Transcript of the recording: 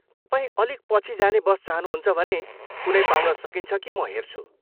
तपाईँ अलिक पछि जाने बस चाहनुहुन्छ भने, कुनै पाउन सकिन्छ कि म हेर्छु।